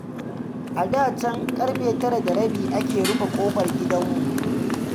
A da can ƙarfe tara da rabi ake rufe ƙofar gidanmu.